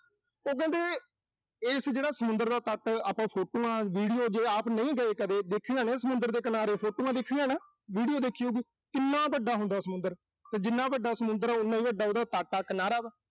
ਉਹ ਕਹਿੰਦੇ ਏਸ ਜਿਹੜਾ ਸਮੁੰਦਰ ਦਾ ਤੱਟ, ਆਪਾਂ photos, videos ਜੇ ਆਪ ਨਹੀਂ ਗਏ ਕਦੇ, ਦੇਖੀਆਂ ਨਾ, ਸਮੁੰਦਰ ਦੇ ਕਿਨਾਰੇ photos ਦੇਖੀਆਂ ਨਾ। video ਦੇਖੀ ਹੋਊ ਗੀ। ਕਿੰਨਾ ਵੱਡਾ ਹੁੰਦਾ ਸਮੁੰਦਰ। ਤੇ ਜਿੰਨਾ ਵੱਡਾ ਸਮੁੰਦਰ ਆ, ਉਨਾ ਹੀ ਵੱਡਾ ਉਹਦਾ ਤੱਟ ਆ, ਕਿਨਾਰਾ ਵਾ।